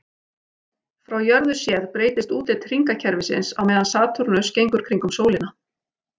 Frá jörðu séð breytist útlit hringakerfisins á meðan Satúrnus gengur kringum sólina.